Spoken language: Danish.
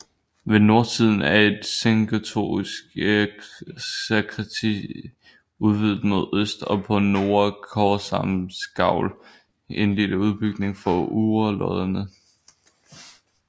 Ved nordsiden er et sengotisk sakristi udvidet mod øst og på nordre korsarmsgavl en lille udbygning for urlodderne